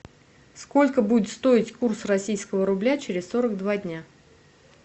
сколько будет стоить курс российского рубля через сорок два дня